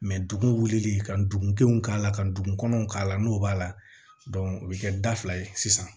dugu wulili ka dugu denw k'a la ka dugukɔnɔw k'a la n'o b'a la o bɛ kɛ da fila ye sisan